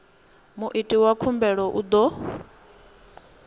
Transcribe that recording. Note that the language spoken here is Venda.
muiti wa khumbelo u ḓo